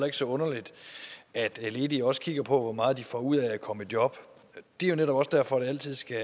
ikke så underligt at ledige også kigger på hvor meget de får ud af at komme i job det er jo netop også derfor det altid skal